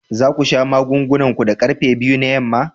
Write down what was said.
Za ku sha magungunan ku da karfe biyu na yamma?